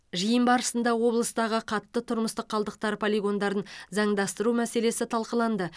жиын барысында облыстағы қатты тұрмыстық қалдықтар полигондарын заңдастыру мәселесі талқыланды